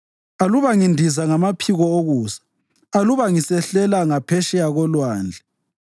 Aluba ngindiza ngamaphiko okusa, aluba ngisehlela ngaphetsheya kolwandle,